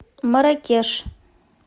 марракеш